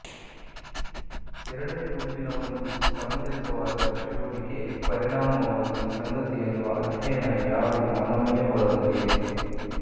ಎರಡನೇ ಗುಂಪಿನ ಒಂದು ಸಮಂಜಸವಾದ ಚಟುವಟಿಕೆ ಪರಿಣಾಮವಾಗಿ ಸಂಗತಿಯನ್ನು ಅಧ್ಯಯನ ಯಾರು ಮಾನವೀಯ ಒಳಗೊಂಡಿದೆ